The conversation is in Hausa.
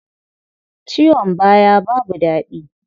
Ciwon baya babu daɗi.